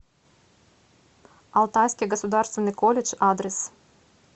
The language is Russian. алтайский государственный колледж адрес